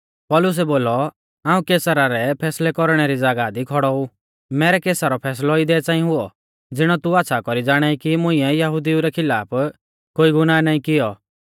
पौलुसै बोलौ हाऊं कैसर रै फैसलै कौरणै री ज़ागाह दी खौड़ौ ऊ मैरै केसा रौ फैसलौ इदै च़ांई हुऔ ज़िणौ तू आच़्छ़ा कौरी ज़ाणाई कि मुंइऐ यहुदिऊ रै खिलाफ कोई गुनाह नाईं कियौ